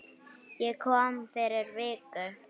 Ég kom fyrir viku